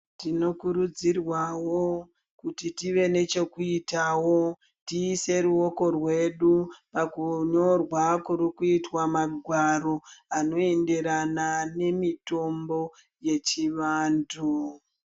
Tinokurudzirwawo kuti tive nechekuitawo tiise ruoko rwedu pakunyorwa kuri kuitwa magwaro anoenderana nemutombo yechivantu.